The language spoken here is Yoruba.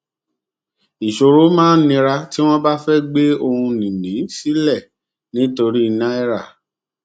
ìṣòro máa nira tí wọn bá fẹ gbé ohunìní sílẹ nítorí náírà